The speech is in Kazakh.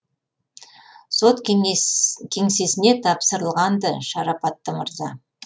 сот кеңсесіне тапсырылған ды шарапатты мырза